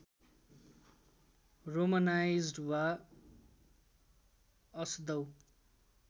Romanised वा असदउ